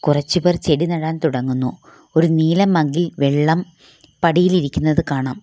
കുറച്ചു പേർ ചെടി നടാൻ തുടങ്ങുന്നു ഒരു നീല മഗ് ഇൽ വെള്ളം പടിയിലിരിക്കുന്നത് കാണാം.